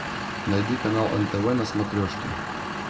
найди канал нтв на смотрешке